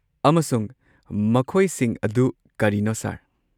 ꯑꯃꯁꯨꯡ ꯃꯈꯣꯏꯁꯤꯡ ꯑꯗꯨ ꯀꯔꯤꯅꯣ, ꯁꯔ?